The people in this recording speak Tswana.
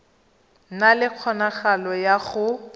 na le kgonagalo ya go